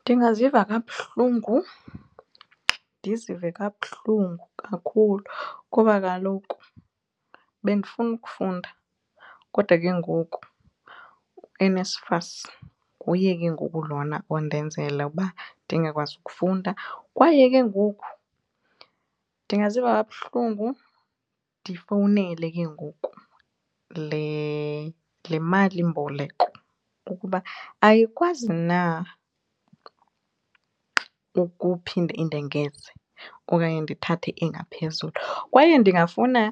Ndingaziva kabuhlungu ndizive kabuhlungu kakhulu kuba kaloku bendifuna ukufunda kodwa ke ngoku uNSFAS nguye ke ngoku lona ondenzela ukuba ndingakwazi ukufunda. Kwaye ke ngoku ndingaziva kabuhlungu ndifowunele ke ngoku le malimboleko ukuba ayikwazi na ukuphinda indengeze okanye ndithathe engaphezulu. Kwaye ndingafuna